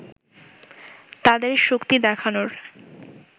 তাদের শক্তি দেখানোর